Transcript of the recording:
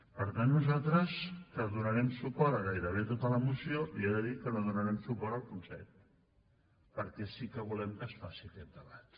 per tant nosaltres que donarem suport a gairebé tota la moció li he de dir que no donarem suport al punt set perquè sí que volem que es faci aquest debat